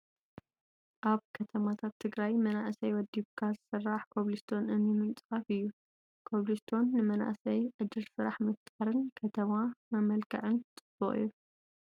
ኣብ ከተማታት ትግራይ መናእሰይ ወዲብካ ዝስራሕ ኮፕልስቶን እምኒ ምንፃፍ እዩ። ኮፕልስቶን ንመናእስይ ዕድል ስራሕ ምፍጣርን ንከተማ መመልክዕን ፅቡቅ እዩ ።